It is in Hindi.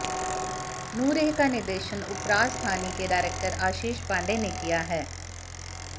नूरेह का निर्देशन उपराजधानी के डायरेक्टर अाशीष पांडे ने किया है